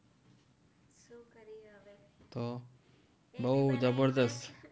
તો બહુ જબરદસ્ત